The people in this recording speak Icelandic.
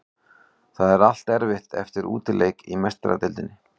Það er alltaf erfitt eftir útileik í Meistaradeildinni.